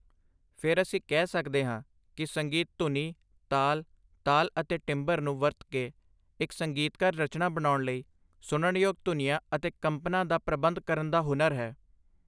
ਫਿਰ ਅਸੀਂ ਕਹਿ ਸਕਦੇ ਹਾਂ ਕਿ ਸੰਗੀਤ ਧੁਨੀ, ਤਾਲ, ਤਾਲ ਅਤੇ ਟਿੰਬਰ ਨੂੰ ਵਰਤ ਕੇ ਇੱਕ ਸੰਗੀਤਕ ਰਚਨਾ ਬਣਾਉਣ ਲਈ ਸੁਣਨਯੋਗ ਧੁਨੀਆਂ ਅਤੇ ਕੰਪਨਾਂ ਦਾ ਪ੍ਰਬੰਧ ਕਰਨ ਦਾ ਹੁਨਰ ਹੈ।